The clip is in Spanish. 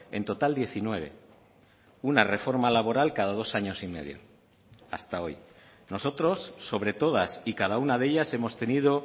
en total diecinueve una reforma laboral cada dos años y medio hasta hoy nosotros sobre todas y cada una de ellas hemos tenido